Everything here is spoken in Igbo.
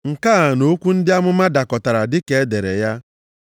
Nke a na okwu ndị amụma dakọtara, dịka e dere ya,